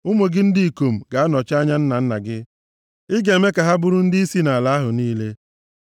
Ụmụ gị ndị ikom ga-anọchi anya nna nna gị; ị ga-eme ka ha bụrụ ndịisi nʼala ahụ niile.